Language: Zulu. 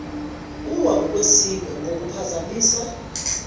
uwa ukwesindwa kungaphazamisa